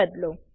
થી બદલો